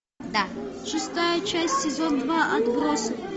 шестая часть сезон два отбросы